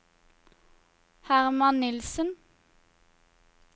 Hermann Nilssen